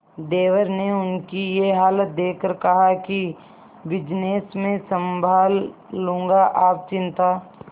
देवर ने उनकी ये हालत देखकर कहा कि बिजनेस मैं संभाल लूंगा आप चिंता